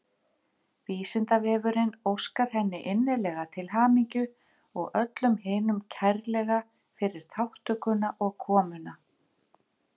Vísindavefurinn óskar henni innilega til hamingju og öllum hinum kærlega fyrir þátttökuna og komuna.